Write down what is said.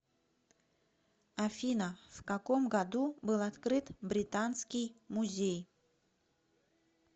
афина в каком году был открыт британский музей